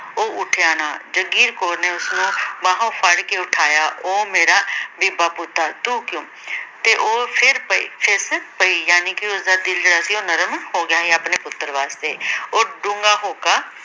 ਉਹ ਉੱਠਿਆ ਨਾ। ਜਾਗੀਰ ਕੌਰ ਨੇ ਉਸਨੂੰ ਬਾਹੋਂ ਫੜ੍ਹ ਕੇ ਉਠਾਇਆ, ਉਹ ਮੇਰਾ ਬੀਬਾ ਪੁੱਤ! ਤੂੰ ਕਿਉਂ ਤੇ ਉਹ ਫਿਰ ਪਈ ਫਿੱਸ ਪਈ। ਜਾਣੀ ਕਿ ਉਸਦਾ ਦਿਲ ਜਿਹੜਾ ਸੀ ਉਹ ਨਰਮ ਹੋ ਗਿਆ ਸੀ ਆਪਣੇ ਪੁੱਤਰ ਵਾਸਤੇ ਉਹ ਡੂੰਘਾ ਹੌਕਾ